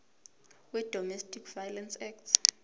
wedomestic violence act